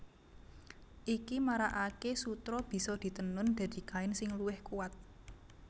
Iki marakaké sutra bisa ditenun dadi kain sing luwih kuwat